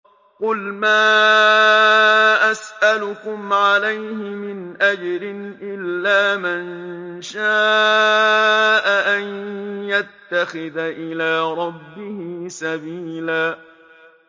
قُلْ مَا أَسْأَلُكُمْ عَلَيْهِ مِنْ أَجْرٍ إِلَّا مَن شَاءَ أَن يَتَّخِذَ إِلَىٰ رَبِّهِ سَبِيلًا